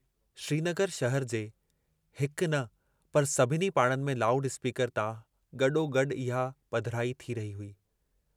श्रीनगर शहर जे हिक न पर सभिनी पाड़नि में लाउड स्पीकर तां गडोगडु इहा पधिराई थी रही हुई।